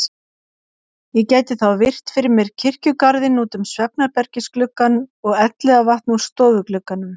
Ég gæti þá virt fyrir mér kirkjugarðinn út um svefnherbergisgluggann og Elliðavatn úr stofuglugganum.